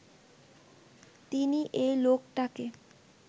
তিনি এই লোকটাকে